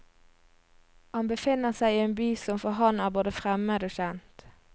Han befinner seg i en by som for ham er både fremmed og kjent.